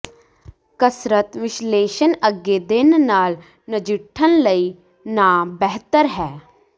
ਕਸਰਤ ਵਿਸ਼ਲੇਸ਼ਣ ਅੱਗੇ ਦਿਨ ਨਾਲ ਨਜਿੱਠਣ ਲਈ ਨਾ ਬਿਹਤਰ ਹੈ